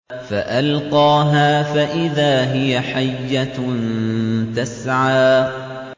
فَأَلْقَاهَا فَإِذَا هِيَ حَيَّةٌ تَسْعَىٰ